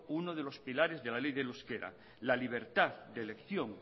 uno de los pilares de la ley del euskera la libertad de elección